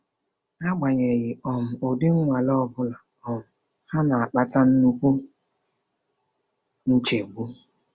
Agbanyeghị um ụdị nnwale ọ bụla, um ha na-akpata nnukwu nchegbu.